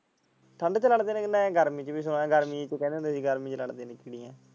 ਠੰਡ ਚ ਲੜਦੇ ਨੇ ਮੈਂ ਗਰਮੀ ਚ ਵੀ ਸੁਣਿਆ ਗਰਮੀ ਚ ਕਹਿੰਦੇ ਹੁੰਦੇ ਗਰਮੀ ਚ ਲੜਦੇ ਨੇ।